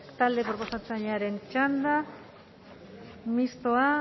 talde proposatzailearen txanda mistoa